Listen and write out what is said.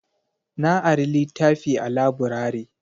Na ari litafi a laburare